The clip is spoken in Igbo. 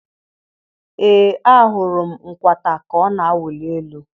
Ee ahụrụ m nkwata ka ọ na-awụli elu.